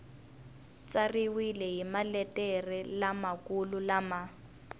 tsariwile hi maletere lamakulu lama